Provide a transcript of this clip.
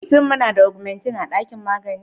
Shin muna da augmetin a ɗakin magani?